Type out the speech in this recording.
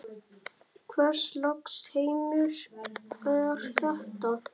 Hvers lags heimur er þetta?